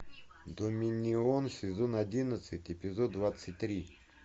доминион сезон одиннадцать эпизод двадцать три